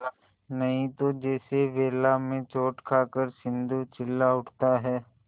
नहीं तो जैसे वेला में चोट खाकर सिंधु चिल्ला उठता है